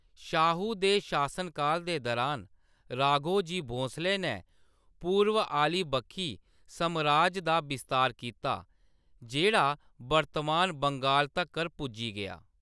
शाहू दे शासनकाल दे दरान, राघोजी भोसले नै पूरव आह्‌ली बक्खी समराज दा बस्तार कीता, जेह्‌‌ड़ा वर्तमान बंगाल तक्कर पुज्जी गेआ।